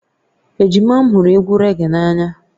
Ejima m hụrụ egwu raggae n'anya